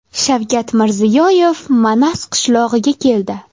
Shavkat Mirziyoyev Manas qishlog‘iga keldi.